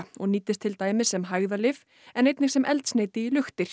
og nýtist til dæmis sem hægðalyf en einnig sem eldsneyti í